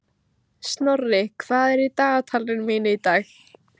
Snorri, hvað er í dagatalinu mínu í dag?